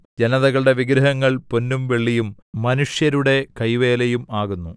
ജനതകളുടെ വിഗ്രഹങ്ങൾ പൊന്നും വെള്ളിയും മനുഷ്യരുടെ കൈവേലയും ആകുന്നു